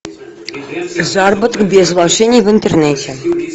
заработок без вложений в интернете